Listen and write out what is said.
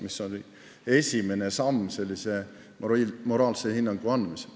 See oli esimene samm moraalse hinnangu andmisel.